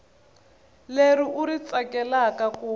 leri u ri tsakelaka ku